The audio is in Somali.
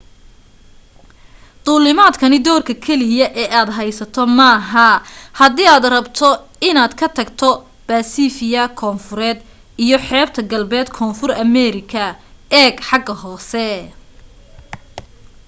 duulimaadkani doorka keliya ee aad haysato maaha hadii aad rabto inaad ka tagto baasifia koonfureed iyo xeebta galbeed koonfur ameerika. eeg xagga hoose